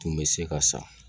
Tun bɛ se ka san